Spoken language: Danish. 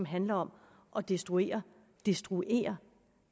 handler om at destruere destruere